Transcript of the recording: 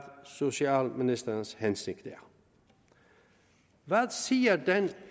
socialministerens hensigt er hvad siger den